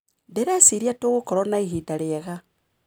Ndĩreciria tũgũkorwo na ihinda rĩega